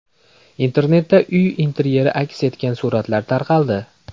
Internetda uy interyeri aks etgan suratlar tarqaldi.